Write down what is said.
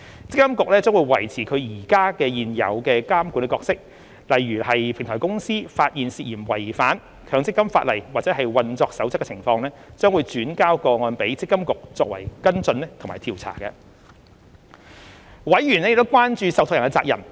積金局將維持其現有的監管角色，如平台公司發現涉嫌違反強積金法例或運作守則的情況，將轉交個案予積金局作跟進或調查。委員亦關注受託人的責任。